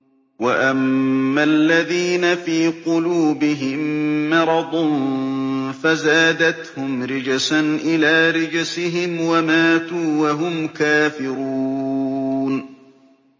وَأَمَّا الَّذِينَ فِي قُلُوبِهِم مَّرَضٌ فَزَادَتْهُمْ رِجْسًا إِلَىٰ رِجْسِهِمْ وَمَاتُوا وَهُمْ كَافِرُونَ